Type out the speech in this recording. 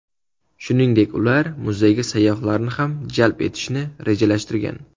Shuningdek, ular muzeyga sayyohlarni ham jalb etishni rejalashtirgan.